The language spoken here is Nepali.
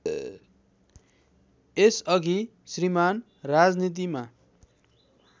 यसअघि श्रीमान् राजनीतिमा